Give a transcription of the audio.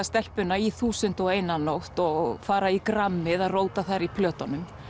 stelpuna í þúsund og ein nótt og fara í grammið að róta þar í plötunum